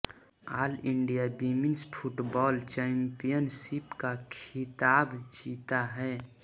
all India women's football championship का खिताब जीता है